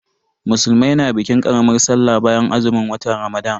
Musulmai na bikin karamar Sallah bayan azumin watan Ramadan.